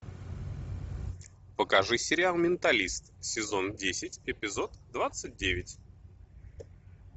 покажи сериал менталист сезон десять эпизод двадцать девять